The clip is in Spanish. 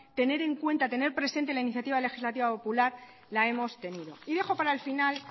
tener en cuenta tener presenta la iniciativa legislativa popular la hemos tenido y dejo para el final